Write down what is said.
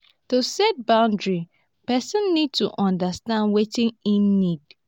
to set boundries person need to understand wetin im need